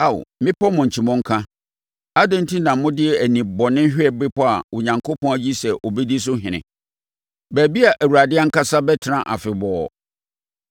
Ao mmepɔ mmɔnkyi mmɔnka, adɛn enti na mode ani bɔne hwɛ bepɔ a Onyankopɔn ayi sɛ ɔbɛdi so ɔhene, baabi a Awurade ankasa bɛtena afebɔɔ?